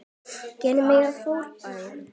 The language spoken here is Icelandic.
Gera mig að fordæmi?